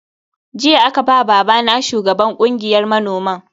Jiya aka ba babana shugaban kungiyar manoman.